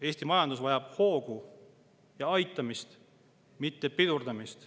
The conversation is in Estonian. Eesti majandus vajab hoogu ja aitamist, mitte pidurdamist.